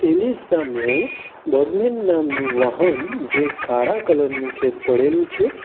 ની સામે બર્ગમેન નામનું વાહન જે કાળા કલર નું છે પડેલું છે.